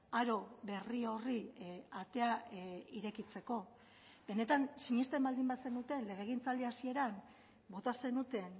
aro berri horri atea irekitzeko benetan sinesten baldin bazenuten legegintzaldi hasieran bota zenuten